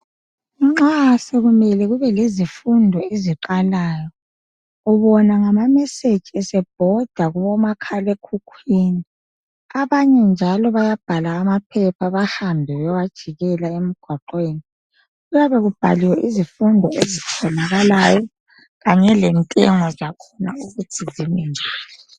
Nxa sokumele kube lezifundo eziqalayo ubona ngama message esebhoda kubo makhalekhukhwini abanye njalo bayabhala amaphepha behambe bewajikela emgwaqweni kuyabe kubhaliwe izifundo ezitholakalayo kanye lentengo zakhona ukuthi zimi njani.